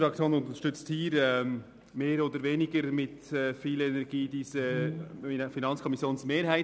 Unsere Fraktion unterstützt mit mehr oder weniger Energie die Anträge der FiKo-Mehrheit.